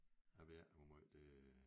Jeg ved ikke hvor måj det